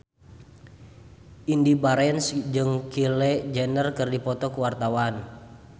Indy Barens jeung Kylie Jenner keur dipoto ku wartawan